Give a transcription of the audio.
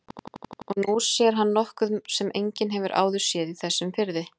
Og nú sér hann nokkuð sem enginn hefur áður séð í þessum firði.